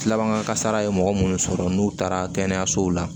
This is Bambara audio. Tilaban kasara ye mɔgɔ minnu sɔrɔ n'u taara kɛnɛyasow la